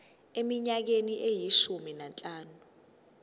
eminyakeni eyishumi nanhlanu